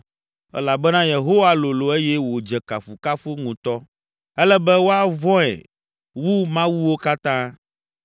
Elabena Yehowa lolo eye wòdze kafukafu ŋutɔ; ele be woavɔ̃e wu mawuwo katã.